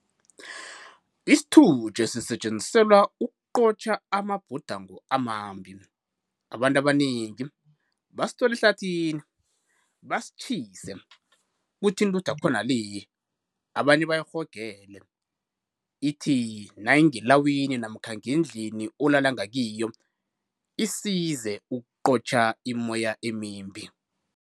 Isitutjhe sisetjenziselwa ukuqotjha amabhudango amambi, abantu abanengi basithola ehlathini basitjhise kuthi intuthu yakhona le abanye bayirhogele ithi nayingelawini namkha ngendini olala ngakiyo isize ukuqotjha imoya emimbi.